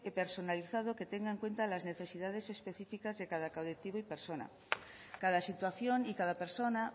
personalizado que tenga en cuenta las necesidades específicas de cada colectivo y persona cada situación y cada persona